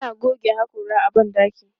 Ana goge haƙora a ban ɗaki.